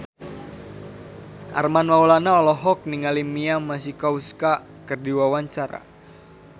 Armand Maulana olohok ningali Mia Masikowska keur diwawancara